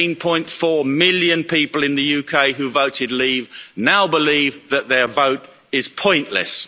17.4 million people in the UK who voted Leave now believe that their vote is pointless.